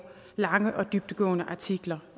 lange og dybdegående artikler